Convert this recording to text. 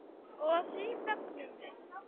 Og því fögnum við.